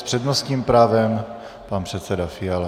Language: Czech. S přednostním právem pan předseda Fiala.